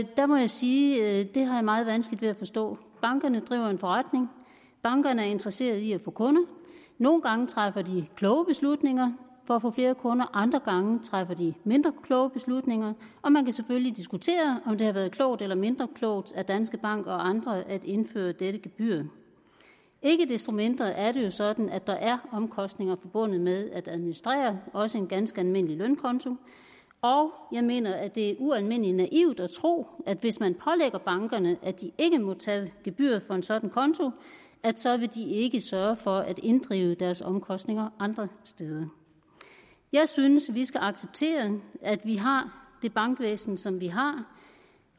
der må jeg sige at det har jeg meget vanskeligt ved at forstå bankerne driver en forretning bankerne er interesseret i at få kunder nogle gange træffer de kloge beslutninger for at få flere kunder andre gange træffer de mindre kloge beslutninger og man kan selvfølgelig diskutere om det har været klogt eller mindre klogt af danske bank og andre at indføre dette gebyr ikke desto mindre er det jo sådan at der er omkostninger forbundet med at administrere også en ganske almindelig lønkonto og jeg mener at det er ualmindelig naivt at tro at hvis man pålægger bankerne at de ikke må tage gebyr for en sådan konto så vil de ikke sørge for at inddrive deres omkostninger andre steder jeg synes vi skal acceptere at vi har det bankvæsen som vi har